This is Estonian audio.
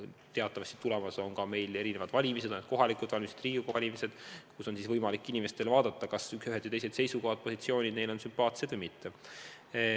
Teatavasti on meil jälle tulemas ka valimised – on need kohalikud valimised, on need Riigikogu valimised –, kus inimestel on võimalik mõelda, kas ühed või teised seisukohad, positsioonid on neile sümpaatsed või mitte.